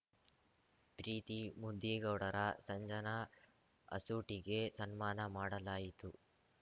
ಪ್ರೀತಿ ಮುದಿಗೌಡರ ಸಂಜನಾ ಅಸೂಟಿಗೆ ಸನ್ಮಾನ ಮಾಡಲಾಯಿತು